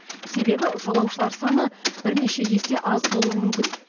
себебі жолаушылар саны бірнеше есе аз болуы мүмкін